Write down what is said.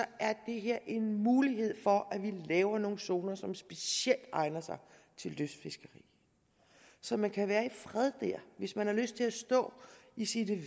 det her en mulighed for at vi laver nogle zoner som specielt egner sig til lystfiskeri så man kan være i fred der hvis man har lyst til at stå i sine